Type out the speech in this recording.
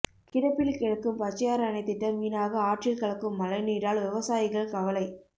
கிடப்பில் கிடக்கும் பச்சையாறு அணைத்திட்டம் வீணாக ஆற்றில் கலக்கும் மழைநீரால் விவசாயிகள் கவலை